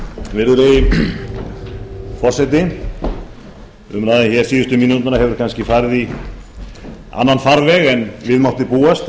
virðulegi forseti umræðan síðustu mínúturnar hefur kannski farið í annan farveg þegar við mátti búast þegar